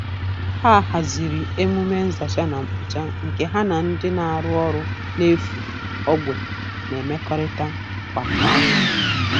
Ha haziri emume nzacha na mkpocha nke ha na ndị na-arụ ọrụ n'efu ogbe na-emekọrịta kwa ọnwa